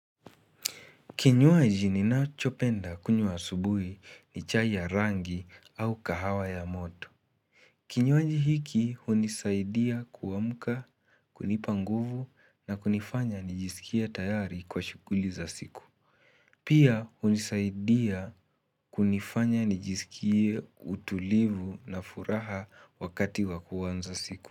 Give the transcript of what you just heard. Kinywaji ninachopenda kunywa asubuhi ni chai ya rangi au kahawa ya moto. Kinywaji hiki hunisaidia kuamka, kunipa nguvu na kunifanya nijisikie tayari kwa shughuli za siku. Pia hunisaidia kunifanya nijisikie utulivu na furaha wakati wa kuanza siku.